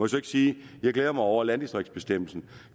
så ikke sige at jeg glæder mig over at landdistriktsbestemmelsen